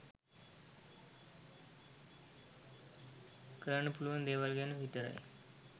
කරන්න පුලුවන් දේවල් ගැන විතරයි